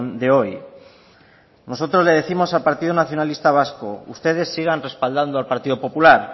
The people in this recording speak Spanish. de hoy nosotros le décimos al partido nacionalista vasco ustedes sigan respaldando al partido popular